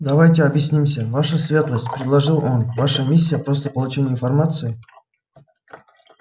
давайте объяснимся ваша светлость предложил он ваша миссия просто получение информации